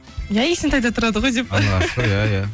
иә есентайда тұрады ғой деп пе